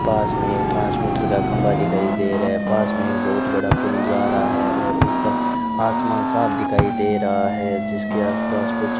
पास में ट्रांसमीटर का खंबा दिखाई दे रहा है पास में एक बहुत बड़ा पुल जा रहा है और ऊपर आसमान साफ दिखाई दे रहा है जिसके आसपास कुछ --